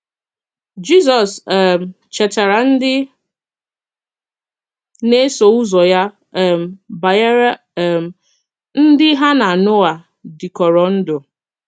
Jizọs um chètara ndị na-eso ụzọ ya um banyere um ndị ha na Noa dịkọrọ ndụ.